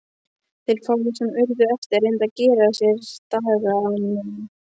Þeir fáu sem urðu eftir reyndu að gera sér dagamun.